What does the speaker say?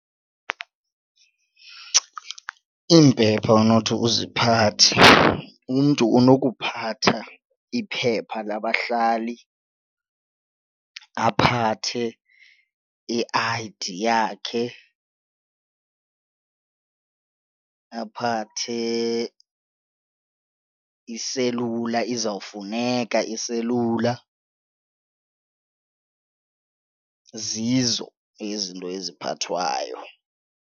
Iimpepha onothi uziphathe umntu unokuphatha iphepha labahlali aphathe i-I_D yakhe aphathe iselula izawufuneka iselula. Zizo izinto eziphathwayo.